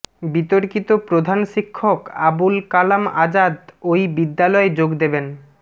বিতর্কিত প্রধান শিক্ষক আবুল কালাম আজাদ ওই বিদ্যালয়ে যোগ দেবেন